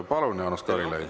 Palun, Jaanus Karilaid!